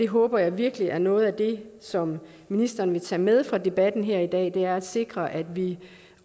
håber virkelig at noget af det som ministeren vil tage med fra debatten her i dag er at sikre at vi